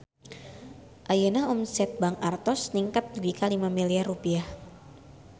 Ayeuna omset Bank Artos ningkat dugi ka 5 miliar rupiah